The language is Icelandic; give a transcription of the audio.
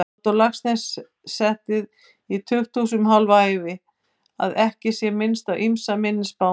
Halldór Laxness setið í tukthúsum hálfa ævina, að ekki sé minnst á ýmsa minni spámenn.